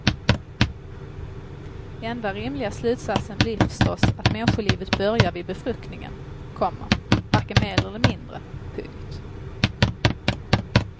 Enda rimliga slutsatsen blir förstås att människolivet börjar vid befruktningen, komma varken mer eller mindre. punkt